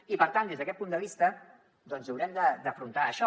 i per tant des d’aquest punt de vista doncs haurem d’afrontar això